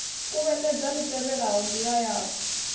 kuvhatedza li tevhelaho ndila yau